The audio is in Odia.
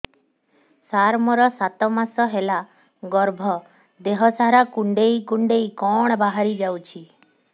ସାର ମୋର ସାତ ମାସ ହେଲା ଗର୍ଭ ଦେହ ସାରା କୁଂଡେଇ କୁଂଡେଇ କଣ ବାହାରି ଯାଉଛି